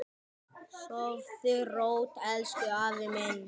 Sofðu rótt, elsku afi minn.